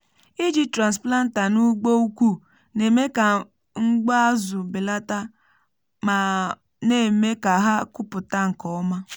iji transplanter n’ugbo ukwu na-eme ka mgbu azụ belata ma na-eme ka ha kụpụta nke ọma.